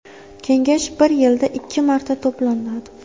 Kengash bir yilda ikki marta to‘planadi.